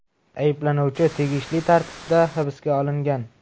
Ayblanuvchilar tegishli tartibda hibsga olingan.